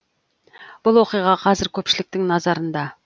бұл оқиға қазір көпшіліктің назарында